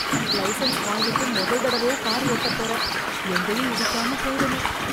Licence வாங்கிட்டு முதல் தடவையா கார் ஓட்டப் போறேன். எங்கேயும் இடிக்காம போயிடணும்.